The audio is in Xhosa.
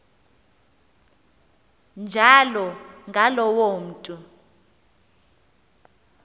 njalo ngaloo mntu